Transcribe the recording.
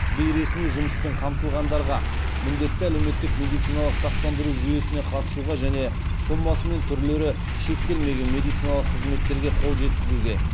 бейресми жұмыспен қамтылғандарға міндетті әлеуметтік медициналық сақтандыру жүйесіне қатысуға және сомасы мен түрлері шектелмеген медициналық қызметтерге қол жеткізуге